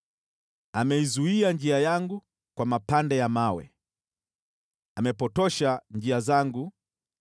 Ameizuia njia yangu kwa mapande ya mawe, amepotosha njia zangu.